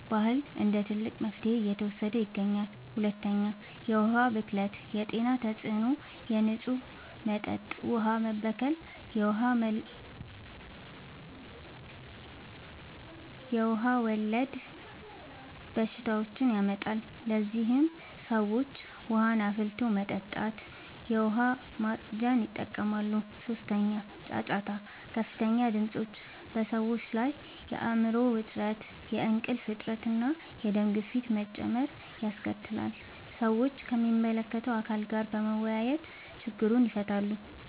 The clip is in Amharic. ባህል እንደ ትልቅ መፍትሄ እየተወሰደ ይገኛል። 2. የዉሀ ብክለት የጤና ተጽዕኖ፦ የንጹህ መጠጥ ውሃ መበከል የውሃ ወለድ በሽታዎችን ያመጣል። ለዚህም ሰዎች ውሃን አፍልቶ መጠጣትና የዉሃ ማፅጃን ይጠቀማሉ። 3. ጫጫታ፦ ከፍተኛ ድምጾች (ጫጫታ) በሰዎች ላይ የአይምሮ ዉጥረት፣ የእንቅልፍ እጥረት፣ እና የደም ግፊት መጨመር ያስከትላል። ሰዎችም ከሚመለከተዉ አካል ጋር በመወያየት ችግሩን ይፈታሉ።